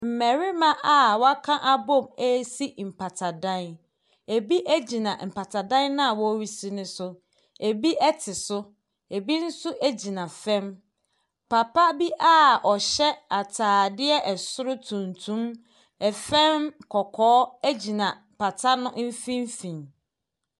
Mmɛrima a waka abom esi mpata dan. Ebi egyina mpata dan na wɔresi no so. Ebi ɛte so, ebi nso egyina fam. Papa bi a ɔhyɛ ataadeɛ ɛsoro tuntum, ɛfam kɔkɔɔ, egyina pata no mfimfini.